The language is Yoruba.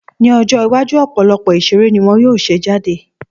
Ní ọjọ́ iwájú, ọ̀pọ̀lọpọ̀ ìṣeré ni wọ́n yóò ṣe jáde